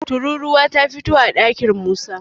tururuwa ta fito a ɗakin Musa